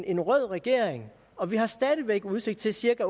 en rød regering og vi har stadig væk udsigt til cirka